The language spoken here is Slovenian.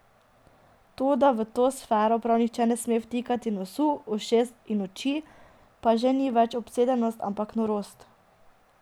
To, da v to sfero prav nihče ne sme vtikati nosu, ušes in oči, pa že ni več obsedenost, ampak norost.